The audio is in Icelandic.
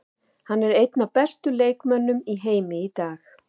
Hann er einn af bestu leikmönnum í heimi í dag.